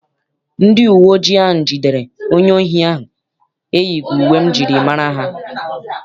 Ndị uwe ojii ahụ jidere onye ohi ahụ eyighị uwe m jiri mara ha.